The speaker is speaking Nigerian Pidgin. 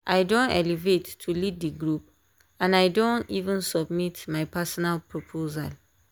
i don elevate to lead the group and i don even submit my personal proposal.